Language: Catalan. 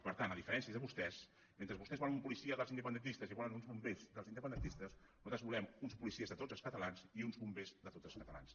per tant a diferència de vostès mentre vostès volen una policia dels independentistes i volen uns bombers dels independentistes nosaltres volem uns policies de tots els catalans i uns bombers de tots els catalans